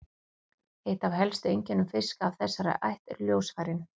Eitt af helstu einkennum fiska af þessari ætt eru ljósfærin.